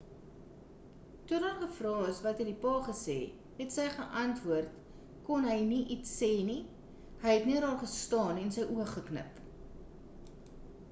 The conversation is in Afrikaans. toe daar gevra is wat die pa gesê het sy geantwoord kon hy nie iets sê nie hy het net daar gestaan en sy oë geknip